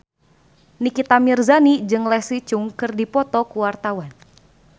Nikita Mirzani jeung Leslie Cheung keur dipoto ku wartawan